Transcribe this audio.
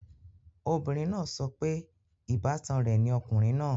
Obìnrin náà sọ pé ìbátan rẹ̀ ni ọkùnrin náà